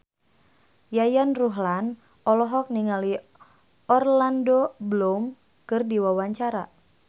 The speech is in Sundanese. Yayan Ruhlan olohok ningali Orlando Bloom keur diwawancara